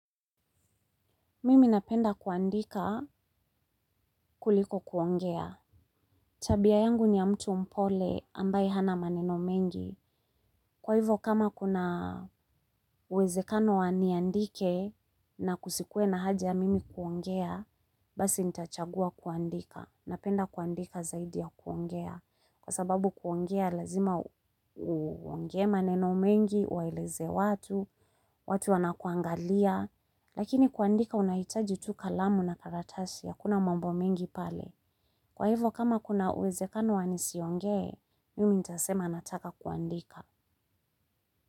Mimi napenda kuandika kuliko kuongea. Tabia yangu ni ya mtu mpole ambaye hana maneno mengi. Kwa hivyo kama kuna uwezekano wa niandike na kusikue na haja mimi kuongea, basi nitachagua kuandika. Napenda kuandika zaidi ya kuongea. Kwa sababu kuongea lazima uongee maneno mengi, uwaeleze watu, watu wana kuangalia. Lakini kuandika unahitaji tu kalamu na karatasi hakuna mambo mengi pale. Kwa hivyo kama kuna uwezekano wanisionge mimi nitasema nataka kuandika.